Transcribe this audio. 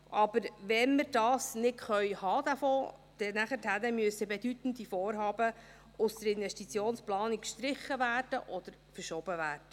Wenn wir diesen Fonds nicht haben können, müssen bedeutende Vorhaben aus der Investitionsplanung gestrichen oder verschoben werden.